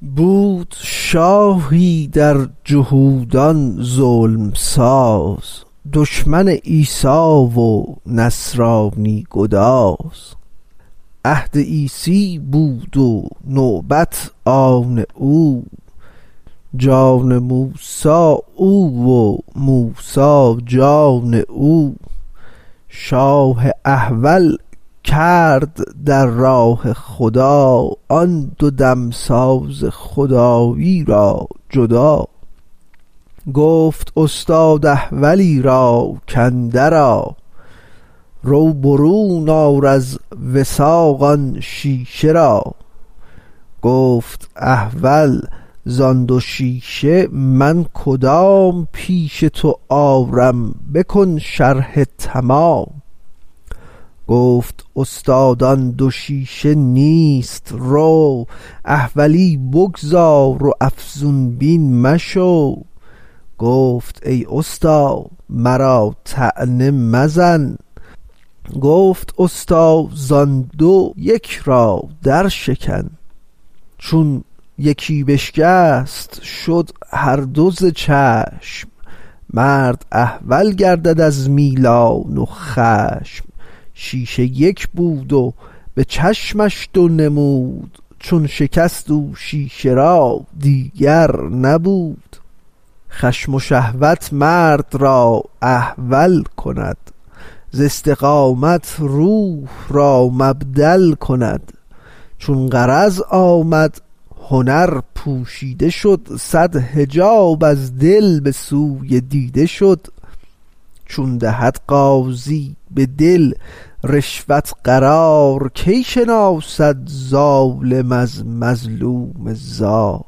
بود شاهی در جهودان ظلم ساز دشمن عیسی و نصرانی گداز عهد عیسی بود و نوبت آن او جان موسی او و موسی جان او شاه احول کرد در راه خدا آن دو دمساز خدایی را جدا گفت استاد احولی را کاندر آ رو برون آر از وثاق آن شیشه را گفت احول زان دو شیشه من کدام پیش تو آرم بکن شرح تمام گفت استاد آن دو شیشه نیست رو احولی بگذار و افزون بین مشو گفت ای استا مرا طعنه مزن گفت استا زان دو یک را در شکن چون یکی بشکست هر دو شد ز چشم مرد احول گردد از میلان و خشم شیشه یک بود و به چشمش دو نمود چون شکست او شیشه را دیگر نبود خشم و شهوت مرد را احول کند ز استقامت روح را مبدل کند چون غرض آمد هنر پوشیده شد صد حجاب از دل به سوی دیده شد چون دهد قاضی به دل رشوت قرار کی شناسد ظالم از مظلوم زار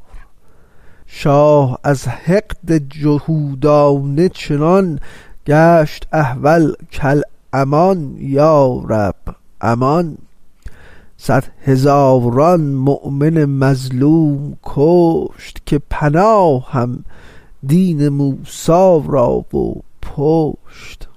شاه از حقد جهودانه چنان گشت احول کالامان یا رب امان صد هزاران مؤمن مظلوم کشت که پناهم دین موسی را و پشت